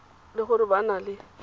le gore ba na le